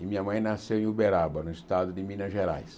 E minha mãe nasceu em Uberaba, no estado de Minas Gerais.